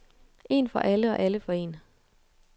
En for alle og alle for en.